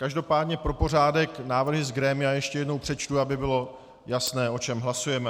Každopádně pro pořádek návrhy z grémia ještě jednou přečtu, aby bylo jasné, o čem hlasujeme.